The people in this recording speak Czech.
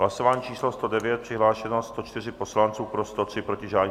Hlasování číslo 109, přihlášeno 104 poslanců, pro 103, proti žádný.